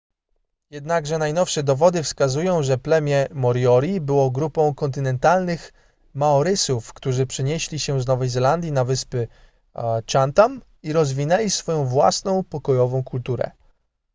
jednakże najnowsze dowody wskazują że plemię moriori było grupą kontynentalnych maorysów którzy przenieśli się z nowej zelandii na wyspy chatham i rozwinęli swoją własną pokojową kulturę